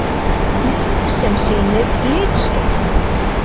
Mynd sem sýnir litskekkju.